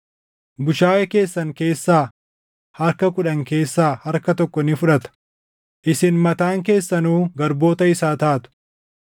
Bushaayee keessan keessaa harka kudhan keessaa harka tokko ni fudhata; isin mataan keessanuu garboota isaa taatu.